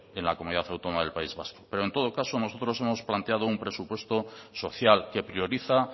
en la comunidad autónoma del país vasco pero en todo caso nosotros hemos planteado un presupuesto social que prioriza